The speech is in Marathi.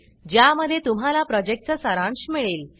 ज्या मध्ये तुम्हाला प्रोजेक्ट चा सारांश मिळेल